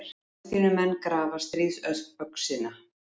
Palestínumenn grafa stríðsöxina